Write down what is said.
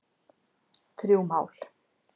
Þrjú mál